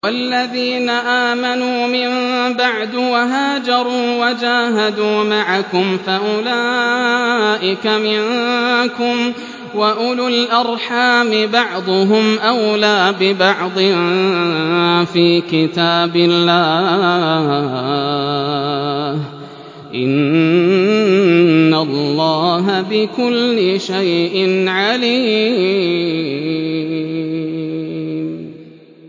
وَالَّذِينَ آمَنُوا مِن بَعْدُ وَهَاجَرُوا وَجَاهَدُوا مَعَكُمْ فَأُولَٰئِكَ مِنكُمْ ۚ وَأُولُو الْأَرْحَامِ بَعْضُهُمْ أَوْلَىٰ بِبَعْضٍ فِي كِتَابِ اللَّهِ ۗ إِنَّ اللَّهَ بِكُلِّ شَيْءٍ عَلِيمٌ